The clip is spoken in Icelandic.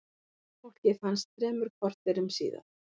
Fólkið fannst þremur korterum síðar.